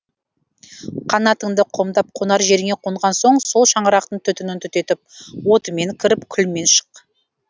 қанатыңды қомдап қонар жеріңе қонған соң сол шаңырақтың түтінін түтетіп отымен кіріп күлімен шық